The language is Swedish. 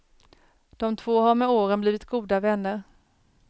De två har med åren blivit goda vänner.